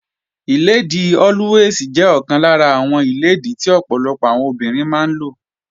Páàdì Always jẹ́ ọ̀kan lára àwọn páàdì tí ọ̀pọ̀lọpọ̀ àwọn obìnrin máa ń lò